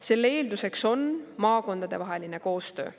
Selle eelduseks on maakondadevaheline koostöö.